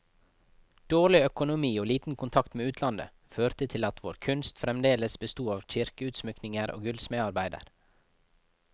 Dårlig økonomi og liten kontakt med utlandet, førte til at vår kunst fremdeles besto av kirkeutsmykninger og gullsmedarbeider.